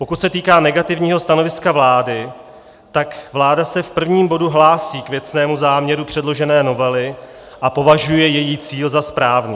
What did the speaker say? Pokud se týká negativního stanoviska vlády, tak vláda se v prvním bodu hlásí k věcnému záměru předložené novely a považuje její cíl za správný.